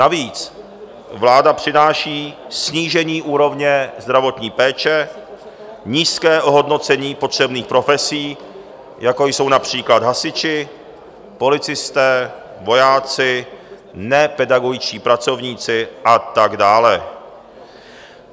Navíc vláda přináší snížení úrovně zdravotní péče, nízké ohodnocení potřebných profesí, jako jsou například hasiči, policisté, vojáci, nepedagogičtí pracovníci a tak dále.